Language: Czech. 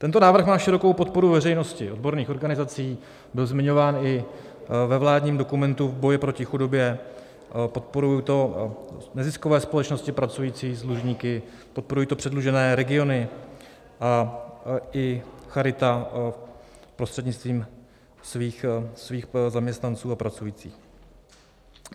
Tento návrh má širokou podporu veřejnosti, odborných organizací, byl zmiňován i ve vládním dokumentu v boji proti chudobě, podporují to neziskové společnosti pracující s dlužníky, podporují to předlužené regiony, a i charita prostřednictvím svých zaměstnanců a pracujících.